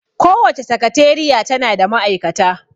Kowace sakateriya tana da ma'aikata